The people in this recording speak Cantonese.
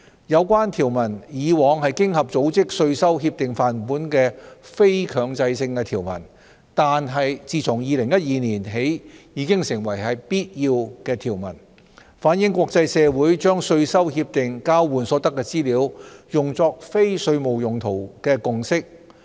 有關條文以往是經合組織稅收協定範本的非強制性條文，但自2012年起已成為必要的條文，反映國際社會把稅收協定交換所得的資料用作非稅務用途的共識。